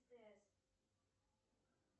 стс